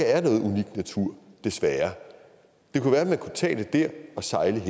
er noget unikt natur desværre det kunne være man kunne tage det der og sejle